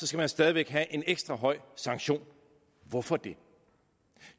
skal man stadig væk have en ekstra høj sanktion hvorfor det